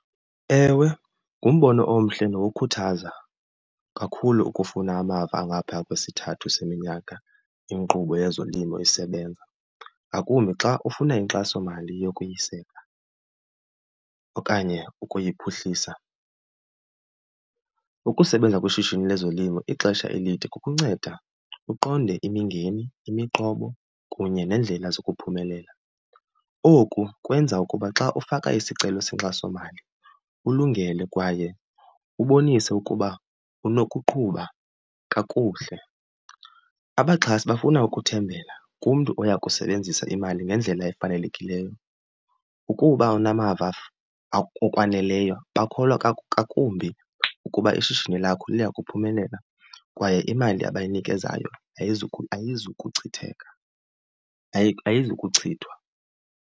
Ewe, ngumbono omhle nokukhuthaza kakhulu ukufuna amava angaphaya kwesithathu seminyaka inkqubo yezolimo isebenza. Ngakumbi xa ufuna inkxasomali yokuyisela okanye ukuyiphuhlisa. Ukusebenza kwishishini lezolimo ixesha elide kukunceda uqonde imingeni, imiqobo, kunye neendlela zokuphumelela. Oku kwenza ukuba xa ufaka isicelo senkxasomali ulungele kwaye ubonise ukuba unokuqhuba kakuhle. Abaxhasi bafuna ukuthembela kumntu oya kusebenzisa imali ngendlela efanelekileyo. Ukuba unamava okwaneleyo bakholwa ngakumbi ukuba ishishini lakho liyakuphumelela kwaye imali abayinikezayo ayizukuchitheka, ayizukuchithwa.